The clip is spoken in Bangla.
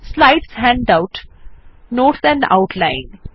slides handouts notes and outline